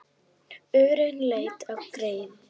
Örn leit á Gerði.